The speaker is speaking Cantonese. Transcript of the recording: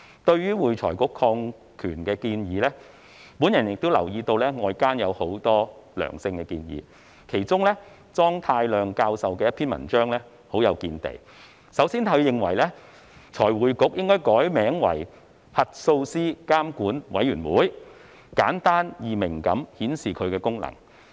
對於會財局擴權的建議，我亦留意到外間有很多良性建議，當中莊太量教授的—篇文章很有見地，首先，他認為財匯局應該改名為"核數師監管委員會"，簡單易明地顯示其功能。